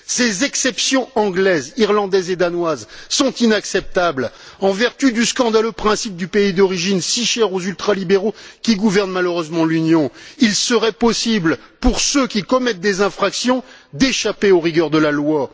Ces exceptions anglaises, irlandaises et danoises sont inacceptables. En vertu du scandaleux principe du pays d'origine, si cher aux ultralibéraux qui gouvernent malheureusement l'Union, il serait possible pour ceux qui commettent des infractions d'échapper aux rigueurs de la loi.